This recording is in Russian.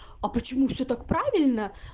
а почему все так правильно